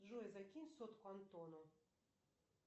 джой закинь сотку антону